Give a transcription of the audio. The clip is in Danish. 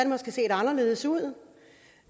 måske set anderledes ud